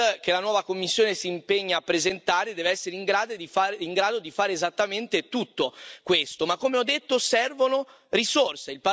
che la nuova Commissione si impegna a presentare, deve essere in grado di fare esattamente tutto questo ma, come ho detto, servono risorse.